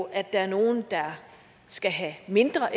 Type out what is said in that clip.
at der er nogle der skal have mindre